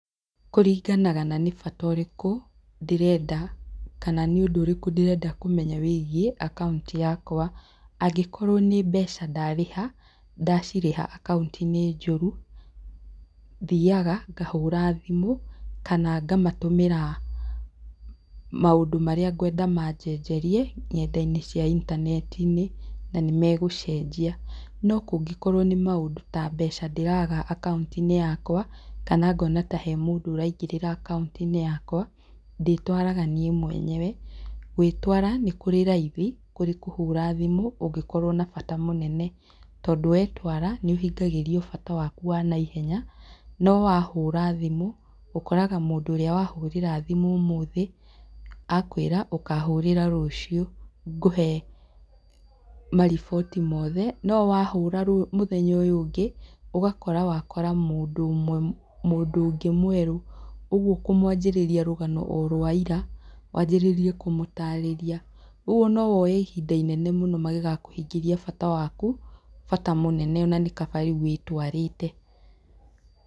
Kũringanaga na nĩ bata ũrĩkũ ndĩrenda, kana nĩ ũndũ ũrikũ ndĩrenda kũmenya wĩgiĩ akaũnti yakwa. Angĩkorwo nĩ mbeca ndarĩha, ndacirĩha akaũnti-inĩ njũru, thiaga, ngahũra thimũ, kana ngamatũmĩra maũndũ marĩa ngwenda manjenjerie, nyenda-inĩ cia intaneti-inĩ, na nĩmegũcenjia. No kũngĩkorwo nĩ maũndũ ta mbeca ndĩraga akaũnti-inĩ yakwa, kana ngona ta he mũndũ ũraingĩrĩra akaũnti-inĩ yakwa, ndĩĩtwaraga niĩ mwenyewe. Gwĩtwara nĩ kũrĩ raithi, kũrĩ kũhũra thimũ kũngĩkorwo na bata mũnene. Tondũ wetwara nĩũhingagĩrio bata waku wa naihenya. No wahũra thimũ, ũkoraga mũndũ ũrĩa wa hũrĩra thimũ ũmũthĩ, a kwĩra ũkahũrĩra thimũ rũciũ ngũhe mariboti mothe. No wahũra mũthenya ũyũ ũngĩ, ũgakora wa kora mũndũ ũmwe mũndu ũngĩ mwerũ. Ũguo ũkũmwanjĩrĩria rũgano o rwa ira, wanjĩrĩrie kũmũtarĩria. Rĩu ona no woe ihinda inene mũno magĩgakũhingĩria bata waku, bata mũnene o na nĩ kaba rĩu wĩtwarĩte.